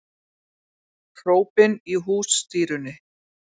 Hrópin í hússtýrunni